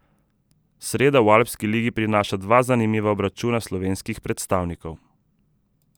Sreda v Alpski ligi prinaša dva zanimiva obračuna slovenskih predstavnikov.